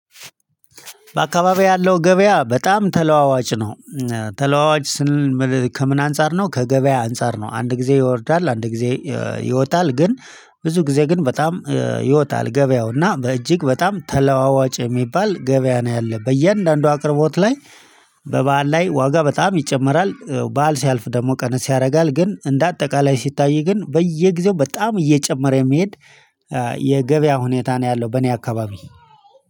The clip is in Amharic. በአካባቢው ያለው ገበያ በጣም ተለዋዋጭ ነው። ተለዋዋጭ ስንል ከምን አንፃር ነው? ከገበያ አንፃር ነው አንድ ጊዜ ይወርዳል አንድ ጊዜ ይወጣል። ግን ብዙ ጊዜ ግን በጣም ይወጣል ገበያው እና በእጅግ በጣም ተለዋዋጭ የሚባል ገበያ ነው ያለው በእያንዳንዱ አቅርቦት ላይ። በበዓል ላይ ዋጋ በጣም ይጨምራል በዓል ሲያልፍ ደግሞ ቀንስ ያደርጋል። ግን እንደ አጠቃላይ ሲታይ ግን በየጊዜው በጣም እየጨመረ የሚሄድ የገበያ ሁኔታ ነው ያለው። በእኔ አካባቢ